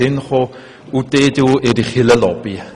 Die EDU schliesslich hat ihre Kirchenlobby.